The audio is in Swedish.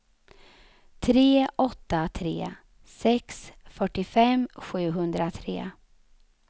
tre åtta tre sex fyrtiofem sjuhundratre